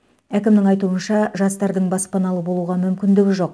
әкімнің айтуынша жастардың баспаналы болуға мүмкіндігі жоқ